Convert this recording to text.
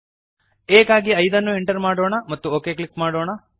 aಗಾಗಿ 5ಅನ್ನು ಎಂಟರ್ ಮಾಡೋಣ ಮತ್ತು ಒಕ್ ಕ್ಲಿಕ್ ಮಾಡೋಣ